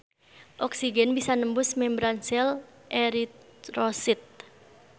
Oksigen bisa nembus membran sel eritrosit.